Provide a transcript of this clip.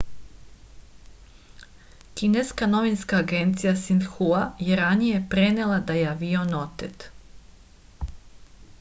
kineska novinska agencija sinhua je ranije prenela da je avion otet